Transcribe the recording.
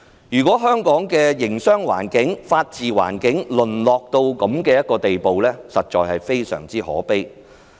如果香港的營商、法治環境淪落至這樣的地步，實在非常可悲。